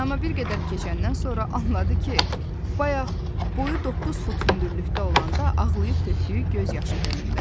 Amma bir qədər keçəndən sonra anladı ki, bayaq boyu 9 fut hündürlükdə olanda ağlayıb tökdüyü göz yaşı gölündədir.